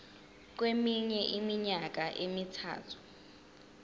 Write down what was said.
kweminye iminyaka emithathu